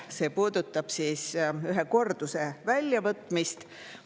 See puudutab ühe korduse väljavõtmist.